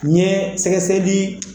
N ye sɛgɛsɛgɛli